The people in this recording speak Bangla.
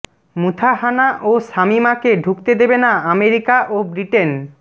মুথাহানা ও শামীমাকে ঢুকতে দেবে না আমেরিকা ও ব্রিটেন